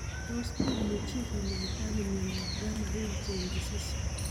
Tos imuchio kinyaita ano miondop gamma heavy chain disease?